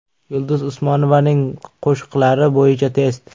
Yulduz Usmonovaning qo‘shiqlari bo‘yicha test.